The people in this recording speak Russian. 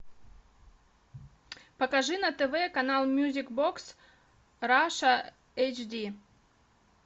покажи на тв канал мьюзик бокс раша эйч ди